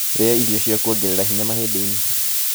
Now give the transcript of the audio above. Rĩa irio cia kũongereritha hinya mahĩndĩ-inĩ